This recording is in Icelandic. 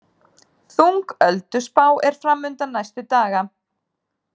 Þung ölduspá er framundan næstu daga